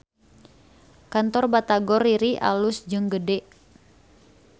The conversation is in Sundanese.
Kantor Batagor Riri alus jeung gede